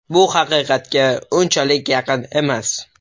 Bu haqiqatga unchalik yaqin emas.